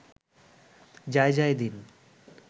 Jaijaidin